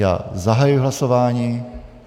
Já zahajuji hlasování.